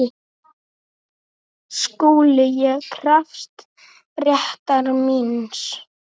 SKÚLI: Ég krefst réttar míns.